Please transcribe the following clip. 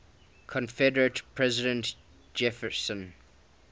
confederate president jefferson